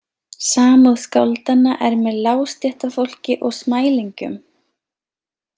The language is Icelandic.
Samúð skáldanna er með lágstéttarfólki og smælingjum.